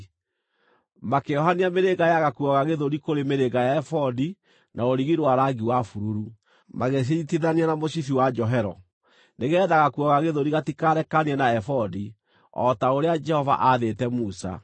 Makĩohania mĩrĩnga ya gakuo ga gĩthũri kũrĩ mĩrĩnga ya ebodi na rũrigi rwa rangi wa bururu, magĩcinyiitithania na mũcibi wa njohero nĩgeetha gakuo ga gĩthũri gatikarekanie na ebodi, o ta ũrĩa Jehova aathĩte Musa.